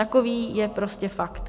Takový je prostě fakt.